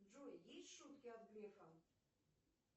джой есть шутки от грефа